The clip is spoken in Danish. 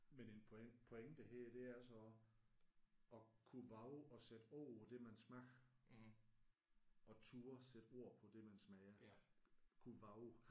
Men en point pointe her det er så at kunne vove at sætte ord på det man smager. At turde at sætte ord på det man smager. Kunne vove